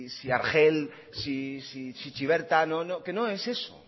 si argel si chiberta que no es eso